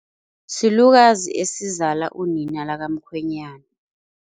Silukazi esizala unina lakamkhwenyana.